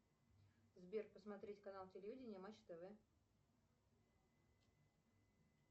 сбер посмотреть канал телевидения матч тв